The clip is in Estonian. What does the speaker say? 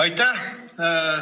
Aitäh!